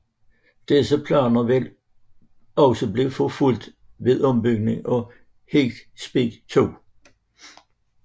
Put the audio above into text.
Disse planer vil også blive forfulgt ved en ombygning for High Speed 2